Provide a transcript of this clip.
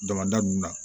Damada nunnu na